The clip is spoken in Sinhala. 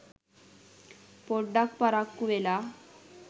පොඩ්ඩක් පරක්කු වෙලා.